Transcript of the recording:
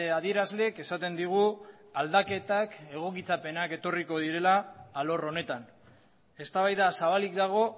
adierazleek esaten digu aldaketak egokitzapenak etorriko direla alor honetan eztabaida zabalik dago